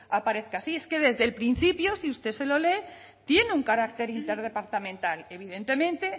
aparezca así es que desde el principio si usted se lo lee tiene un carácter interdepartamental evidentemente